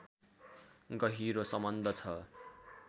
गहिरो सम्बन्ध छ